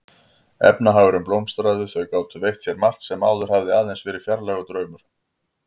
Efnahagurinn blómstraði, þau gátu veitt sér margt sem áður hafði aðeins verið fjarlægur draumur.